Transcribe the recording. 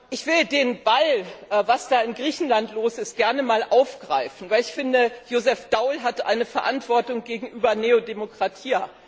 Ich will den Ball, was da in Griechenland los ist, gerne einmal aufgreifen, weil ich finde, Josef Daul hat eine Verantwortung gegenüber Nea Dimokratia.